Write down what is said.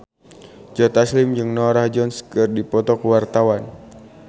Joe Taslim jeung Norah Jones keur dipoto ku wartawan